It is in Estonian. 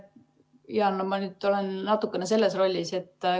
Jaa, ma nüüd olen natukene teistsuguses rollis.